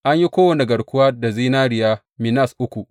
An yi kowane garkuwa da zinariya minas uku.